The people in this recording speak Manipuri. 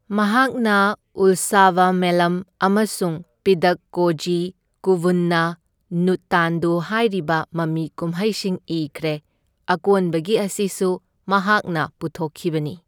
ꯃꯍꯥꯛꯅ ꯎꯜꯁꯥꯕꯥꯃꯦꯂꯝ ꯑꯃꯁꯨꯡ ꯄꯤꯗꯛꯀꯣꯓꯤ ꯀꯨꯚꯨꯟꯅ ꯅꯨꯠꯇꯥꯟꯗꯨ ꯍꯥꯏꯔꯤꯕ ꯃꯃꯤ ꯀꯨꯝꯍꯩꯁꯤꯡ ꯏꯈ꯭ꯔꯦ, ꯑꯀꯣꯟꯕꯒꯤ ꯑꯁꯤꯁꯨ ꯃꯍꯥꯛꯅ ꯄꯨꯊꯣꯛꯈꯤꯕꯅꯤ꯫